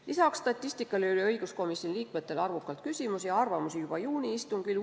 Lisaks statistikale oli õiguskomisjoni liikmetel arvukalt küsimusi ja arvamusi juba juuni istungil.